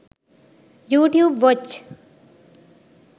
youtube watch